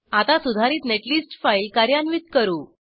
आता सुधारित netlist file कार्यान्वित करू